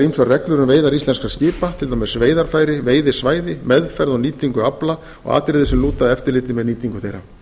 ýmsar reglur um veiðar íslenskra skipa til dæmis veiðarfæri veiðisvæði meðferð og nýtingu afla og atriði sem lúta að eftirliti með nýtingu þeirra